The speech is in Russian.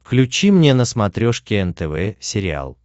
включи мне на смотрешке нтв сериал